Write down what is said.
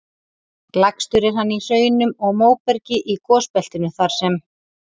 Lægstur er hann í hraunum og móbergi í gosbeltinu þar sem